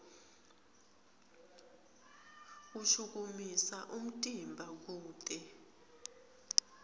ushukumisa umtimba kute